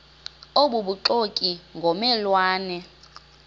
obubuxoki ngomme lwane